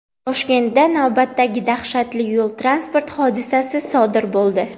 Toshkentda navbatdagi dahshatli yo‘l-transport hodisasi sodir bo‘ldi.